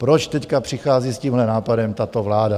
Proč teď přichází s tímhle nápadem tato vláda?